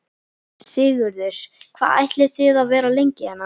Sigurður: Hvað ætlið þið að vera lengi hérna?